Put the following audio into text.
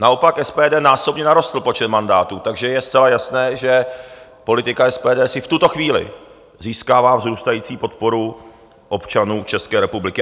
Naopak SPD násobně narostl počet mandátů, takže je zcela jasné, že politika SPD si v tuto chvíli získává vzrůstající podporu občanů České republiky.